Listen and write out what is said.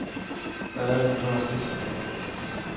Hvad er det, han går og pusler med.